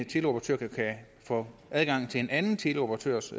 teleoperatør kan få adgang til en anden teleoperatørs